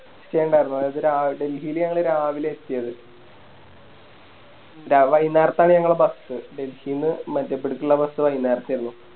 Stay ഇണ്ടാരുന്നു ഡെൽഹില് ഞങ്ങള് രാവിലെയാ എത്തിയത് ര വൈന്നേരത്താണ് ഞങ്ങളെ Bus ഡെൽഹിന്ന് മധ്യപടിക്കിള്ള Bus വൈന്നേരത്തേയരുന്നു